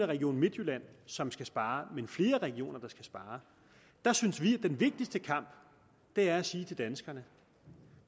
region midtjylland som skal spare men flere regioner så synes vi at den vigtigste kamp er at sige til danskerne